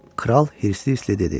Kral hirsdli hirsdli dedi.